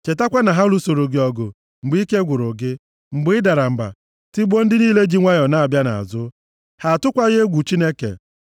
Chetakwa na ha lụsoro gị ọgụ mgbe ike gwụrụ gị, mgbe ị dara mba, tigbuo ndị niile ji nwayọọ na-abịa nʼazụ. Ha atụkwaghị egwu Chineke.